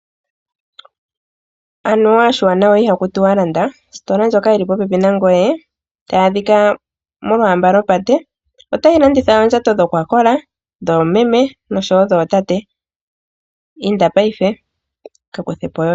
Anuwa oshiwanawa ihaku tiwa landa. Ositola ndjoka yi li popepi nangoye, tayi adhika molwaamba lwopate otayi landitha oondjato dha kola nawa dhoomeme nosho wo dhootate. Inda paife, ka kuthe po yoye!